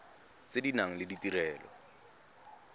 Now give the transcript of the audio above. tse di nang le ditirelo